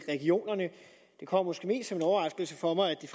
regionerne det kom måske mest som en overraskelse for mig at det